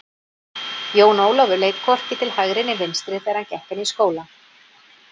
Jón Ólafur leit hvorki til hægri né vinstri þegar hann gekk inn í skólann.